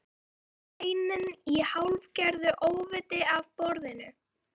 Gríp steininn í hálfgerðu óviti af borðinu.